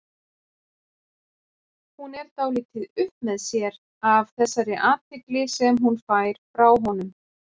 Hún er dálítið upp með sér af þessari athygli sem hún fær frá honum.